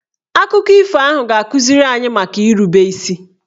Akụkọ ifo ahụ ga-akụziri anyị maka irube isi